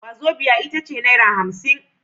Wazobia itace naira hamsin